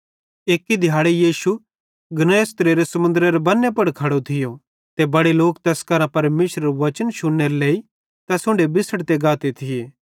एक्की दिहाड़े यीशु गन्नेसरतेरे समुन्देरे बन्ने पुड़ खेड़ोरो थियो ते बड़े लोक तैस कांजो परमेशरेरू वचन शुन्नेरे लेइ यीशु उन्ढे बिछ़ड़ी गाते थिये